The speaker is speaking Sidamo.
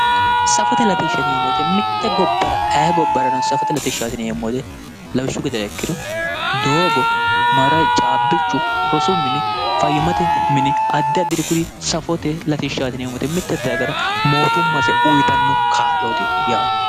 Safote latishsha yineemmo woyiite mitte gobbara ayee gobbarano safote latishshaati yineemmo woyiite lawishshu gedera ikkiro doogo caabbichu rosu mini fayyimmate mini addi addiri kuri safote latishshaati yineemmo woyiite mitte dagara mootummaase uyiitanno kaa'looti yaate